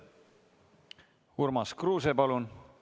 Urmas Kruuse, palun!